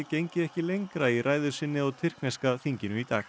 gengi ekki lengra í ræðu sinni á tyrkneska þinginu í dag